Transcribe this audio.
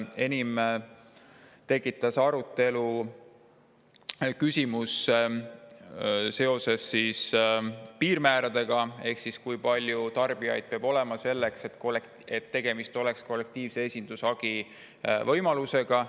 Enim tekitas arutelu piirmäärade küsimus ehk kui palju tarbijaid peab olema, et tegemist oleks kollektiivse esindushagi võimalusega.